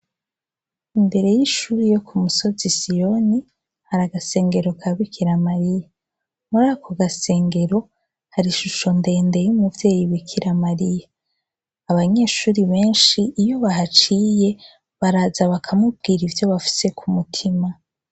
Imbere y'ishuri yo ku musozi siyoni hari agasengero ka bikira mariya muri ako gasengero hari ishusho ndende y'umuvyeyi bikira mariya abanyeshuri benshi iyo bahaciye baraza bakamubwira ivyo bafise ku mutima.